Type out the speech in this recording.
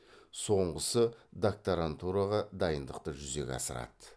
соңғысы докторантураға дайындықты жүзеге асырады